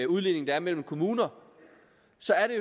udligning der er mellem kommuner